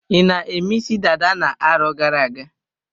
I na-eme isi dada na-arọ gara-aga?